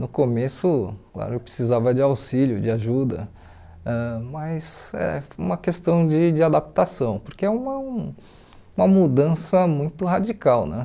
No começo, claro, eu precisava de auxílio, de ajuda, ãh mas é uma questão de de adaptação, porque é uma uma mudança muito radical, né?